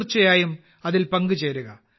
തീർച്ചയായും അതിൽ പങ്കുചേരുക